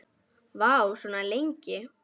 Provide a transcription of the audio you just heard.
Vá, svona lengi?